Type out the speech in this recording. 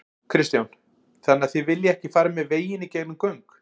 Kristján: Þannig þið viljið ekki fara með veginn í gegnum göng?